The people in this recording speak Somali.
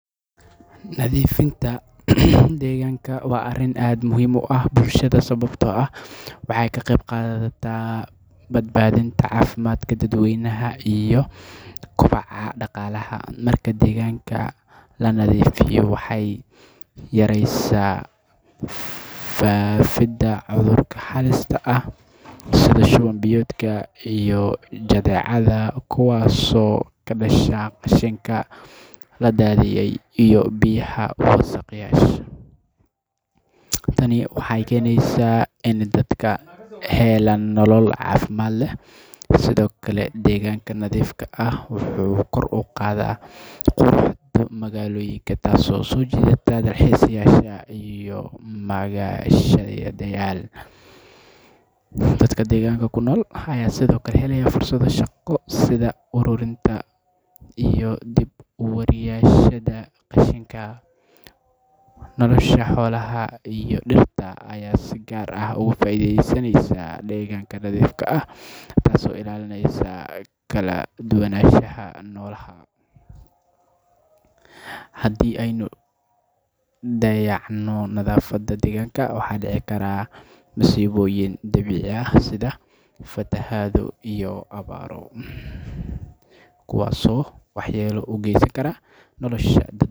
Nadiifinta deegaanka waa arrin aad muhiim u ah bulshada, sababtoo ah waxay ka qayb qaadataa badbaadinta caafimaadka dadweynaha iyo kobaca dhaqaalaha. Marka deegaanka la nadiifiyo, waxay yareysaa faafinta cudurro xaalisteed ah sida shoonbiyadka iyo jadeecada, kuwaas oo ka dhasha qashinka la daadiyay iyo biyaha wasakhda ah. Tani waxay keenaysaa in dadka ay helaan nolol caafimaad leh. Sidoo kale, deegaanka nadiifka ah wuxuu kor u qaadaa quruxda magaalooyinka, taasoo soo jiidato dalxiisayaasha iyo dadka reer magaalo. Dadka deegaanka ku nool waxay sidoo kale helaan fursado shaqo, sida uruurinta qashinka, dab-uurista, iyo dib-u-heejinta. Nolosha dhirta iyo xoolaha ayaa si gaar ah uga faa’iideysata deegaanka nadiifka ah, iyadoo ilaalinaysa kala duwanaanshaha noolaha. Haddii aan dayacno nadaafadda deegaanka, waxaa dhici kara masiibooyin dabiici ah sida fatahaado iyo awaro, kuwaas oo waxyeello u geysan kara dadka iyo deegaanka guud ahaan.